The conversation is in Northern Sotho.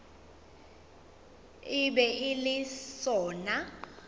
e be e le sona